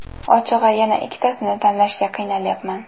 Ochig‘i, yana ikkitasini tanlashga qiynalyapman.